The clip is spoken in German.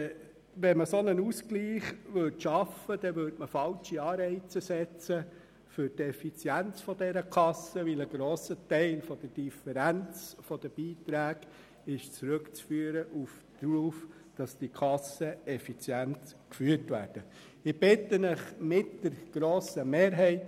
Würde man diesen Ausgleich schaffen, dann würde man falsche Anreize für die Effizienz dieser Kassen setzen, weil ein grosser Teil der Differenz der Beiträge auf die effiziente Führung der Kassen zurückzuführen ist.